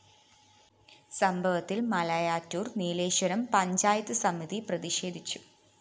സംഭവത്തില്‍ മലയാറ്റൂര്‍ നീലീശ്വരം പഞ്ചായത്ത് സമിതി പ്രതിഷേധിച്ചു